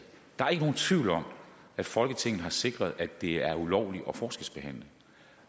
der er ikke nogen tvivl om at folketinget har sikret at det er ulovligt at forskelsbehandle